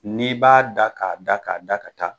N'i b'a da k'a da k'a da ka taa.